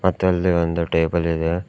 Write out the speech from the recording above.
ಮತ್ತೆ ಅಲ್ಲಿ ಒಂದು ಟೇಬಲ್ ಇದೆ.